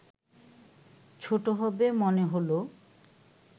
ছোট হবে মনে হলো